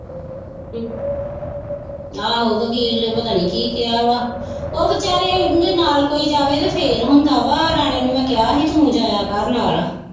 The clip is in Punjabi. ਆਹੋ ਵਕੀਲ ਨੇ ਪਤਾ ਨਹੀਂ ਕੀ ਕਿਹਾ ਵਾ ਉਹ ਵਿਚਾਰੇ ਉਂਦੇ ਨਾਲ ਕੋਈ ਜਾਵੇ ਤੇ ਫਿਰ ਹੁੰਦਾ ਵਾ ਰਾਣੇ ਨੂੰ ਮੈਂ ਕਿਹਾ ਹੀ ਤੂੰ ਜਾਇਆ ਕਰ ਨਾਲ।